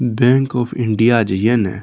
bank of India जे ये ने --